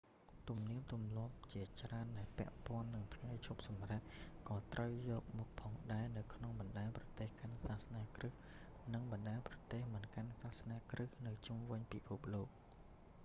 ទំនៀមទម្លាប់ជាច្រើនដែលពាក់ព័ន្ធនឹងថ្ងៃឈប់សម្រាក ក៏ត្រូវទទួលយកផងដែរនៅក្នុងបណ្តាប្រទេសកាន់សាសនាគ្រីស្ទ និងបណ្តាប្រទេសមិនកាន់សាសនាគ្រីស្ទនៅជុំវិញពិភពលោក